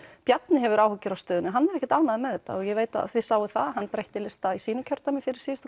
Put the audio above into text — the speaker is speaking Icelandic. Bjarni hefur áhyggjur af stöðunni og hann er ekkert ánægður með þetta og ég veit að þið sáuð að hann breytti lista í sínu kjördæmi fyrir síðustu